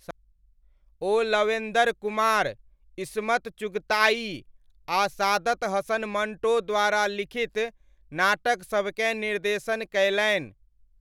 ओ Lavender Kumar, Ismat Chughtai आ सादत हसन मण्टो द्वारा लिखित नाटकसभकेँ निर्देशन कयलनि।